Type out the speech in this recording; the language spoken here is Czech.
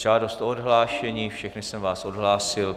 Žádost o odhlášení, všechny jsem vás odhlásil.